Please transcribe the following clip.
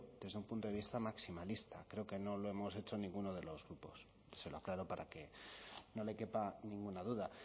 desde un punto de vista maximalista creo que no lo hemos hecho ninguno de los grupos y se lo aclaro para que no le quepa ninguna duda